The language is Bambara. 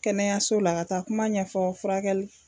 Kɛnɛyaso la ka taa kuma ɲɛfɔ furakɛli.